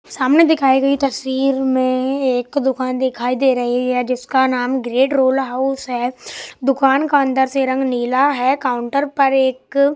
सामने दिखाई गई तस्वीर में एक दुकान दिखाई दे रही है जिसका नाम ग्रेट रोल हाउस है दुकान का अंदर से रंग नीला है काउंटर पर एक --